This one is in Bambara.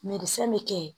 fɛn bɛ kɛ yen